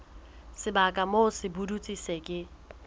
sebaka moo sepudutsi se ke